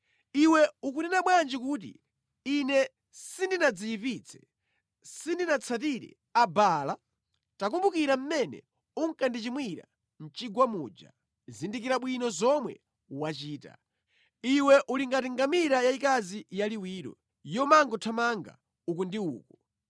“Iwe ukunena bwanji kuti, ‘Ine sindinadziyipitse; sindinatsatire Abaala’? Takumbukira mmene unkandichimwira mʼchigwa muja; zindikira bwino zomwe wachita. Iwe uli ngati ngamira yayikazi yaliwiro yomangothamanga uku ndi uku,